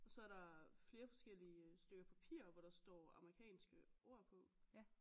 Så der flere forskellige øh stykker papir hvor der står amerikanske ord på